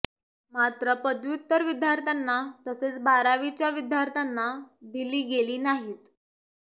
मात्र पदव्युत्तर विद्यार्थ्यांना तसेच बारावीच्या विद्यार्थ्यांना दिली गेली नाहीत